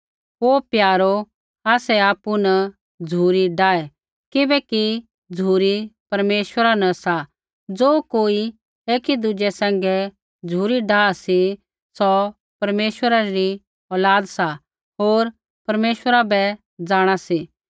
हे प्यारो आसै आपु न झ़ुरी डाहे किबैकि झ़ुरी परमेश्वरा न सा ज़ो कोई एकी दुज़ै सैंघै झ़ुरी डाह सा सौ परमेश्वरा री औलाद सा होर परमेश्वरा बै जाँणा सा